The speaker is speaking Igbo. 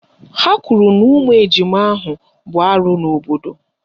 Ha kwuru na ụmụ ejima ahụ bụ arụ n'obodo